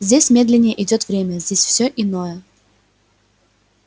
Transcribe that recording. здесь медленнее идёт время здесь все иное